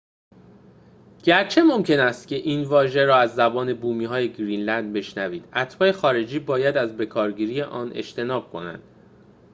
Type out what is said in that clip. گرچه ممکن است این واژه را از زبان بومی‌های گرینلند بشنوید اتباع خارجی باید از بکارگیری آن اجتناب کنند